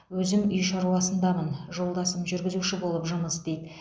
өзім үй шаруасындамын жолдасым жүргізуші болып жұмыс істейді